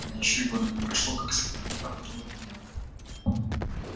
а ведь ещё и года не прошло как схоронила этого беднягу